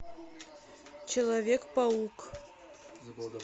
человек паук